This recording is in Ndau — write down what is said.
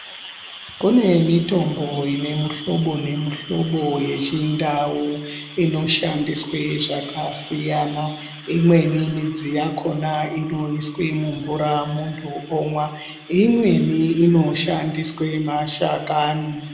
Kune mitombo ine muhlobo nemuhlobo yeChiNdau inoshandiswe zvakasiyana. Imweni midzi yakona inoiswe mumvura muntu omwa, imweni inoshandiswe mashakani.